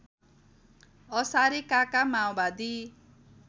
असारे काका माओवादी